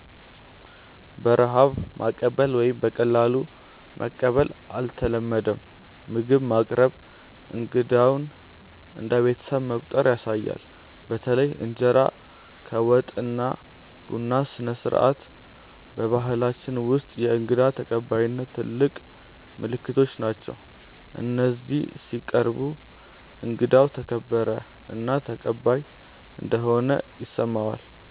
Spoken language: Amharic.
በረሃብ ማቀበል ወይም በቀላሉ መቀበል አይተለመድም፤ ምግብ ማቅረብ እንግዳውን እንደ ቤተሰብ መቆጠር ያሳያል። በተለይ እንጀራ ከወጥ እና ቡና ስነስርዓት በባህላችን ውስጥ የእንግዳ ተቀባይነት ትልቅ ምልክቶች ናቸው፤ እነዚህ ሲቀርቡ እንግዳው ተከበረ እና ተቀባይ እንደሆነ ይሰማዋል።